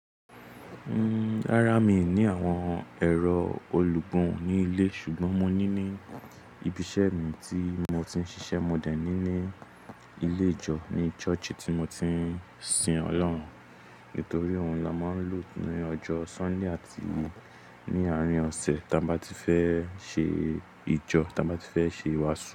Rárá, mi ò ní àwọn ẹ̀rọ olùgún ní ilé. Ṣùgbọ́n mo ní ní ibi iṣẹ́ mi tí mo ti ń ṣiṣẹ́. Mo dẹ̀ ní ní ilé ìjọ ní Ṣọ́ọ̀ṣì tí mo ti ń sin Ọlọ́run. Nítorí òun la máa ń lù ní ọjọ́ Sunday àti ní àárín ọ̀sẹ̀ tí a bá ti fẹ́ ṣe ìjọ, tí a bá ti fẹ́ ṣe ìwàásù.